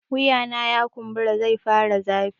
Wuyana ya kumbura zai fara zafi